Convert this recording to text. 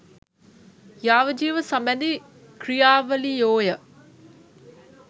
යාවජීව සබැඳී ක්‍රියාවලියෝය.